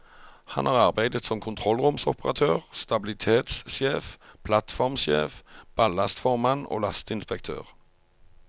Han har arbeidet som kontrollromsoperatør, stabilitetssjef, plattformsjef, ballastformann og lasteinspektør.